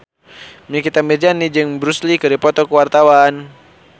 Nikita Mirzani jeung Bruce Lee keur dipoto ku wartawan